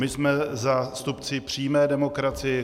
My jsme zástupci přímé demokracie.